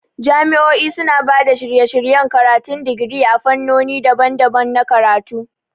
Jami'o'i suna ba da shirye-shiryen karatun digiri a fannoni daban-daban na karatu.